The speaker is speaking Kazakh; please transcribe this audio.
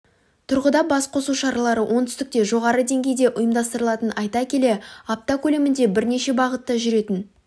тұрғыда бас қосу шаралары оңтүстікте жоғары деңгейде ұйымдастырылатынын айта келе апта көлемінде бірнеше бағытта жүретін